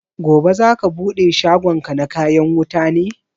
Gobe za ka bude shagon ka na kayan wuta ne?